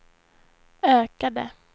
ökade